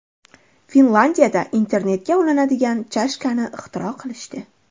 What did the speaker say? Finlyandiyada internetga ulanadigan chashkani ixtiro qilishdi.